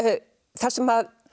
þar sem